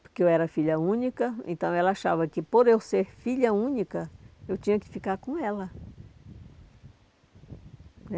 Porque eu era filha única, então ela achava que por eu ser filha única, eu tinha que ficar com ela.